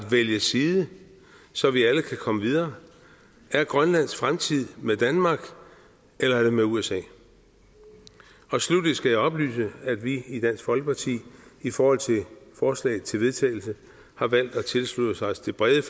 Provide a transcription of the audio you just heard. vælge side så vi alle kan komme videre er grønlands fremtid med danmark eller med usa sluttelig skal jeg oplyse at vi i dansk folkeparti i forhold til forslag til vedtagelse har valgt at tilslutte os det brede